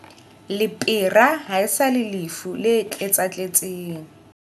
Lepera ha e sa le lefu le tletsatletseng.